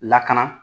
Lakana